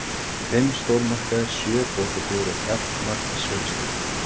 Fimm stórmarkaðir, sjö bókabúðir og jafnmargir sölustjórar.